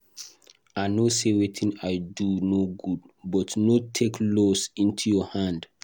I no say wetin I do no good but no take laws into your hand